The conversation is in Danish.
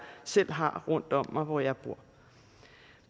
selv har rundt om mig hvor jeg bor